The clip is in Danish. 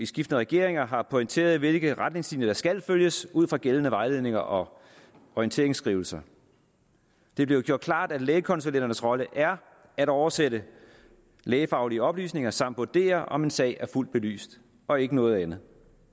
skiftende regeringer har pointeret hvilke retningslinjer der skal følges ud fra gældende vejledninger og orienteringsskrivelser det er blevet gjort klart at lægekonsulenternes rolle er at oversætte lægefaglige oplysninger samt vurdere om en sag er fuldt belyst og ikke noget andet